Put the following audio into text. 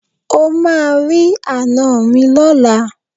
O máa rí àná mi lọ́la.